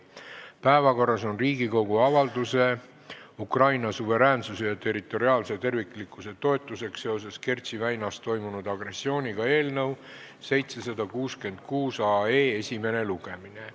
Päevakorras on Riigikogu avalduse "Ukraina suveräänsuse ja territoriaalse terviklikkuse toetuseks seoses Kertši väinas toimunud agressiooniga" eelnõu 766 esimene lugemine.